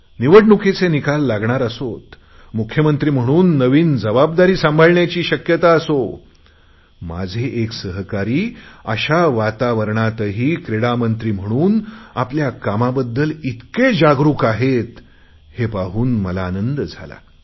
निवडणूकीचे निकाल लागणार असोत मुख्यमंत्री म्हणून नवीन जबाबदारी सांगण्याची शक्यता असो माझे एक सहकारी अशा वातावरणातही क्रीडा मंत्री म्हणून आपल्या कामाबद्दल इतके जागृक आहेत हे पाहून मला आनंद झाला